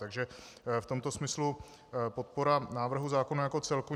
Takže v tomto smyslu podpora návrhu zákona jako celku.